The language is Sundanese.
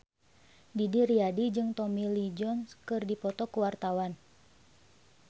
Didi Riyadi jeung Tommy Lee Jones keur dipoto ku wartawan